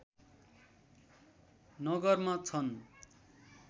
नगरमा छन्